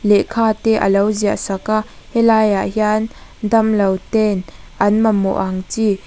lekha te alo ziah saka helaiah hian dawnlo ten an mamawh ang chi.